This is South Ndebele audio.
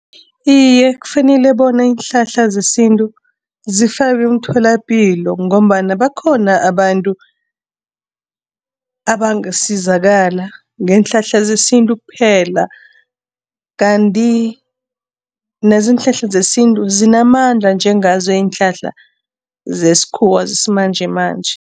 Iye, kufanele bona iinhlahla zesintu zifakwe emtholapilo ngombana bakhona abantu abangasizakala ngeenhlahla zesintu kuphela kanti nazo iinhlahla zesintu zinamandla njengazo iinhlahla zesikhuwa zesimanjemanje.